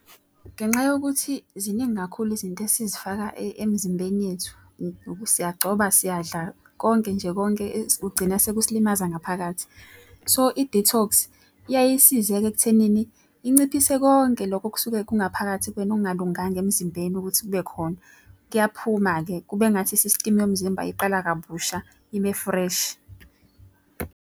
Ngenxa yokuthi ziningi kakhulu izinto esizifaka emzimbeni yethu. Siyagcoba, siyadla konke nje konke kugcina sekusilimaza ngaphakathi. So i-detox iyaye isize-ke ekuthenini inciphise konke lokho okusuke kungaphakathi kwena okungalunganga emzimbeni ukuthi kube khona. Kuyaphuma-ke kube ngathi isistimu yomzimba iqala kabusha ibe-fresh.